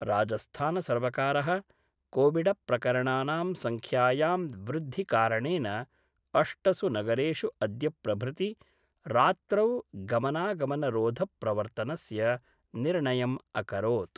राजस्थानसर्वकार: कोविडप्रकरणानां संख्यायाम् वृद्धिकारणेन अष्टसु नगरेषु अद्य प्रभृति रात्रौ गमनागमनरोध प्रवर्तनस्य निर्णयम् अकरोत्।